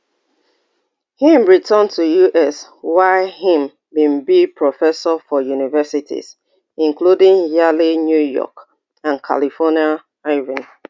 im return to us wia im bin be professor for universities including yale new york and california irvine